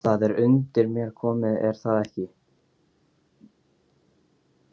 Það er undir mér komið er það ekki?